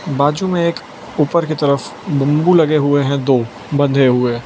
बाजू मे एक ऊपर की तरफ बम्बू लगे हुए है दो बंधे हुए --